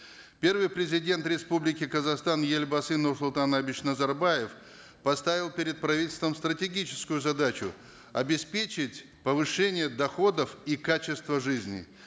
первый президент республики казахстан елбасы нурсултан абишевич назарбаев поставил перед правительством стратегическую задачу обеспечить повышение доходов и качество жизни